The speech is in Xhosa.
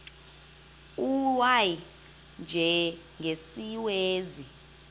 u y njengesiwezi